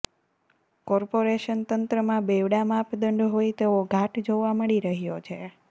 corporation તંત્રમાં બેવડા માપદંડ હોય તેવો ઘાટ જોવા મળી રહ્યો છે